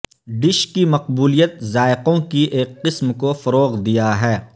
dish کی مقبولیت ذائقوں کی ایک قسم کو فروغ دیا ہے